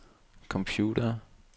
computere